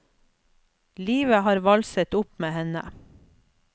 Livet har valset opp med henne.